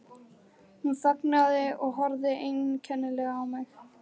Hún þagnaði og horfði einkennilega á mig.